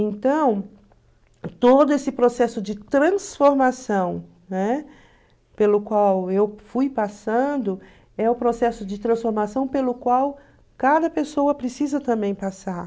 Então, todo esse processo de transformação, né, pelo qual eu fui passando, é o processo de transformação pelo qual cada pessoa precisa também passar.